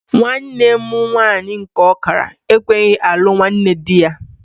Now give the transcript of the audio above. Nwanne mụ nwaanyị nke ọkara ekweghị alụ nwanne dị ya.